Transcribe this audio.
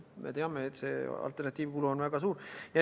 Me teame, et see alternatiivkulu on väga suur.